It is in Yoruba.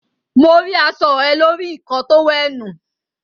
Mo ri aṣọ ẹ lórí ikọ́ọ tówẹ̀ẹ́nù.